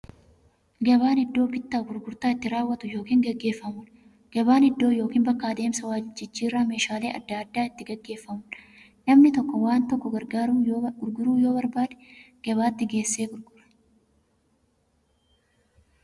Gabaan iddoo bittaaf gurgurtaan itti raawwatu yookiin itti gaggeeffamuudha. Gabaan iddoo yookiin bakka adeemsa waljijjiiraan meeshaalee adda addaa itti gaggeeffamuudha. Namni tokko waan tokko gurguruu yoo barbaade, gabaatti geessee gurgurata.